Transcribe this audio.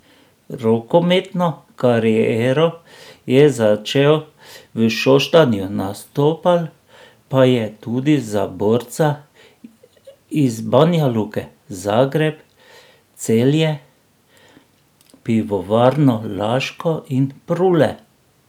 Rokometno kariero je začel v Šoštanju, nastopal pa je tudi za Borca iz Banjaluke, Zagreb, Celje Pivovarno Laško in Prule.